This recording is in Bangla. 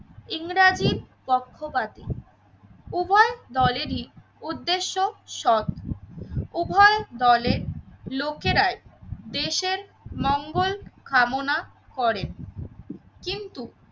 ইংরেজির পক্ষপাতী। উভয় দলেরই উদ্দেশ্য সৎ উভয় দলের লোকেরাই দেশের মঙ্গল কামনা করেন কিন্তু